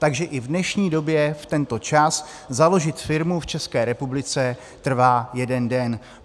Takže i v dnešní době v tento čas založit firmu v České republice trvá jeden den.